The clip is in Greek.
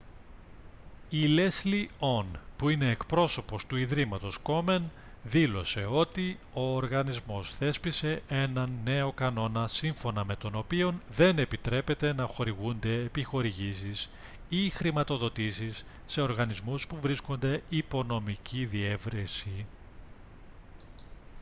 η λέσλι ον που είναι εκπρόσωπος του ιδρύματος κόμεν δήλωσε ότι ο οργανισμός θέσπισε έναν νέο κανόνα σύμφωνα με τον οποίο δεν επιτρέπεται να χορηγούνται επιχορηγήσεις ή χρηματοδοτήσεις σε οργανισμούς που βρίσκονται υπό νομική διερεύνηση